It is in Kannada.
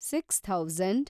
six thousand